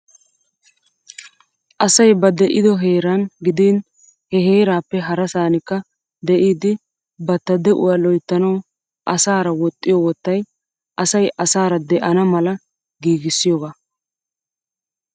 Asay ba de'iddo heeran giiddin he heerappe harassaranikka de'iddi batta de'uwaa lo'ittanawu asara woxxiyoo wottay asay asara de'ana mala giiggissiyooga.